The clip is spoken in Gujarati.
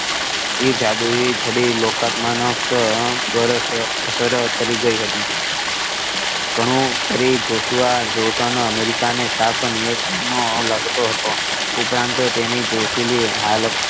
સી જાદુઈ ચડી લોકાત્મ નો અર સર કરી ગઈ હતી ઘણું કરી જોશુઆ નોર્ટન અમેરિકા ને સાફ નિયત નો લાગતો હતો ઉપરાંત તેની જોશીલી